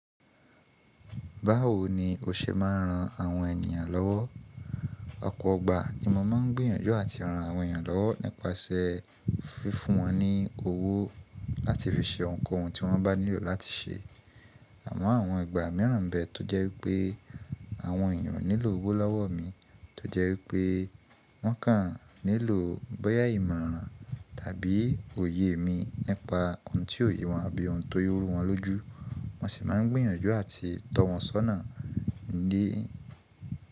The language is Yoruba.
Báwo ni o ṣe máa n ran àwọn ènìyàn lọ́wọ́? Ọ̀pọ̀ọgbà ni mọ máa n gbìyànjú àti ran àwọn ènìyàn lọ́wọ́ nípasè fífún wọn ní owó láti fi ṣe ohun kóhun tí wọ́n bá nílò láti ṣe. Àmọ́ àwọn ìgbà míràn bẹ tó jẹ́ wípé àwọn ènìyàn nílò owó lọ́wọ́ mi, tó jẹ́ wípé wọ́n kàn nílò bọ́yá ìmọ̀ran tàbí òye mi nípa ohun tíò ye wọn àbí ohun tó rú wọn lójú. Mo sì máa n gbìyànjú àti tọ wọn sọ́nà dí-